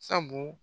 Sabu